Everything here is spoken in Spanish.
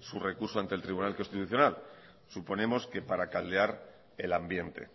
su recurso ante el tribunal constitucional suponemos que para caldear el ambiente